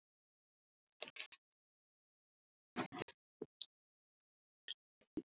Skítt með hvað það var.